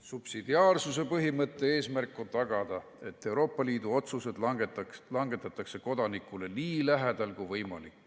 Subsidiaarsuse põhimõtte eesmärk on tagada, et Euroopa Liidu otsused langetatakse kodanikule nii lähedal kui võimalik.